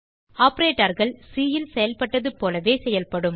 operatorகள் சி ல் செயல்பட்டதுபோலவே செயல்படும்